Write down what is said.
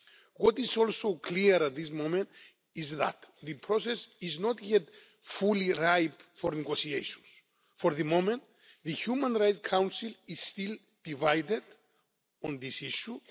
What is also clear at this moment is that the process is not yet fully ripe for negotiations. For the moment, the Human Rights Council is still divided on this issue.